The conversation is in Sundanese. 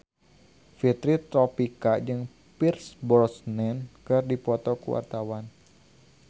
Fitri Tropika jeung Pierce Brosnan keur dipoto ku wartawan